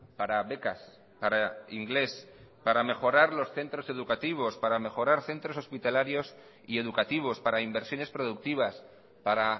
para becas para inglés para mejorar los centros educativos para mejorar centros hospitalarios y educativos para inversiones productivas para